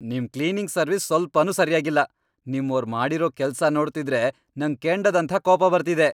ನಿಮ್ cleaning service ಸ್ವಲ್ಪನೂ ಸರ್ಯಾಗಿಲ್ಲ. ನಿಮ್ಮೋರ್ ಮಾಡಿರೋ ಕೆಲ್ಸ ನೋಡ್ತಿದ್ರೆ ನಂಗ್ ಕೆಂಡದಂಥ ಕೋಪ ಬರ್ತಿದೆ.